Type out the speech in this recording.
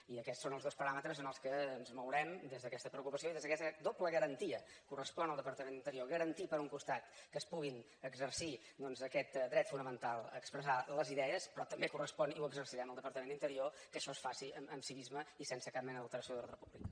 i aquests són els dos paràmetres en què ens mourem des d’aquesta preocupació i des d’aquesta doble garantia correspon al departament d’interior garantir per un costat que es pugui exercir doncs aquest dret fonamental a expressar les idees però també correspon i ho exercirem el departament d’interior que això es faci amb civisme i sense cap mena d’alteració de l’ordre públic